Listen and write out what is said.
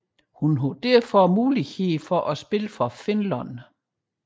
Hun havde således mulighed for at spille for Finland